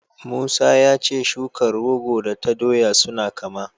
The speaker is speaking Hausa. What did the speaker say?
Musa ya ce shukar rogo da ta doya suna kama.